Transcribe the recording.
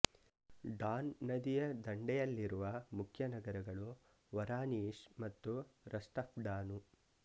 Don ನದಿಯ ದಂಡೆಯಲ್ಲಿರುವ ಮುಖ್ಯ ನಗರಗಳು ವರಾನಿಷ್ ಮತ್ತು ರಸ್ಟಾಫ್ನಾಡಾನು